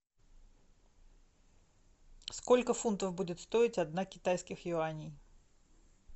сколько фунтов будет стоить одна китайских юаней